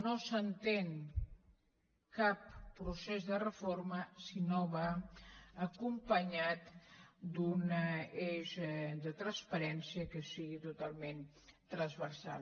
no s’entén cap procés de reforma si no va acompanyat d’un eix de transparència que sigui totalment transversal